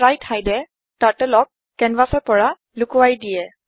spritehideএ Turtleক কেনভাচৰ পৰা লোকোৱাই দিয়ে